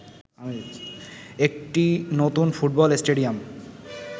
একটি নতুন football stadium